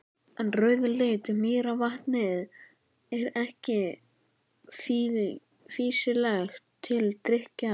En rauðleitt mýrarvatnið er ekki fýsilegt til drykkjar.